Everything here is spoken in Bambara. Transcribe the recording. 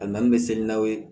A na n bɛ seli n'aw ye